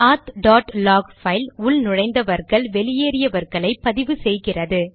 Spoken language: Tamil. ஆத் டாட் லாக் பைல் உள்நுழைந்தார்கள் வெளியேறினார்களை பதிவு செய்கிறது